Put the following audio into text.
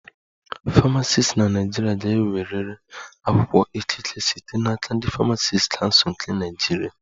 Famacisti na Naịjirịa ga-enwerịrị akwụkwọ ikike site n'aka ndị Famacisti Kansul nke Naịjirịa